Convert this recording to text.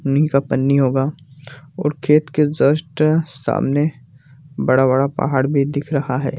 नी का पन्नी होगा और खेत के जस्ट अअ सामने बड़ा-बड़ा पहाड़ भी दिख रहा है।